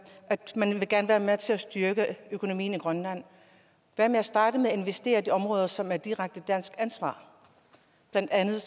gerne vil være med til at styrke økonomien i grønland hvad med at starte med at investere i de områder som er direkte dansk ansvar blandt andet